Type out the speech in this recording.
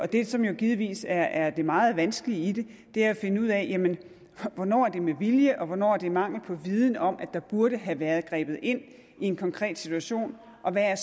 det som jo givetvis er det meget vanskelige i det er at finde ud af hvornår det er med vilje og hvornår det skyldes mangel på viden om at der burde have været grebet ind i en konkret situation og hvad